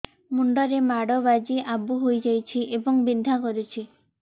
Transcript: ମୁଣ୍ଡ ରେ ମାଡ ବାଜି ଆବୁ ହଇଯାଇଛି ଏବଂ ବିନ୍ଧା କରୁଛି